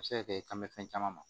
A bɛ se ka kɛ i kan mɛ fɛn caman ma